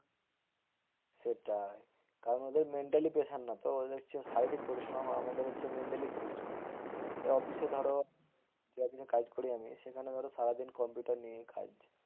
সেটাই কারণ ওদের mentally pressure না তো, ওদের হচ্ছে শারীরিক পরিশ্রম। আর আমাদের হচ্ছে mentally পরিশ্রম এবার অফিসে ধরো যে অফিসে কাজ করি আমি সারাদিন কম্পিউটার নিয়ে কাজ।